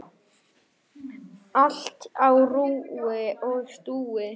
Allt á rúi og stúi.